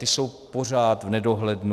Ty jsou pořád v nedohlednu.